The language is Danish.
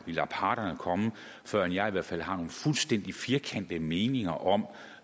vi lader parterne komme før jeg i hvert fald har nogle fuldstændig firkantede meninger om